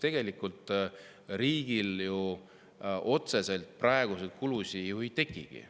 Tegelikult riigil ju praegu otseselt kulusid ei tekikski.